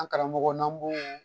An karamɔgɔ n'an b'o